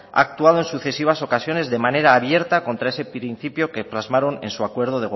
ha actuado en sucesivas ocasiones de manera abierta contra ese principio que plasmaron en su acuerdo